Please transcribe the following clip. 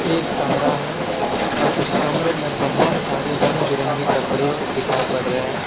एक कमरा है और उस कमरे में बहुत सारे रंग-बिरंगे कपड़े दिखाई पड़ रहे हैं।